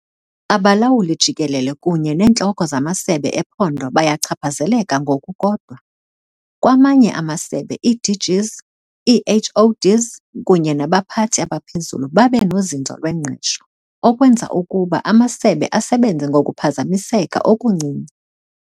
Abalawuli-Jikelele kunye neentloko zamasebe ephondo bayachaphazeleka ngokukodwa. Kwamanye amasebe, ii-DGs, ii-HoDs kunye nabaphathi abaphezulu babe nozinzo lwengqesho, okwenza ukuba amasebe asebenze ngokuphazamiseka okuncinci.